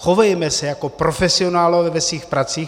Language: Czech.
Chovejme se jako profesionálové ve svých pracích.